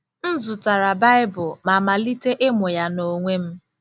M zụtara Baịbụl ma malite ịmụ ya n’onwe m.